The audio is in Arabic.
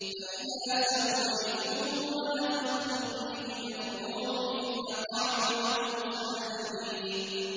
فَإِذَا سَوَّيْتُهُ وَنَفَخْتُ فِيهِ مِن رُّوحِي فَقَعُوا لَهُ سَاجِدِينَ